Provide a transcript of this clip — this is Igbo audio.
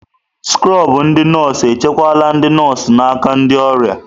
Skrobụ ndị nọọsụ echekwala ndị nọọsụ n'aka ndị ọrịa.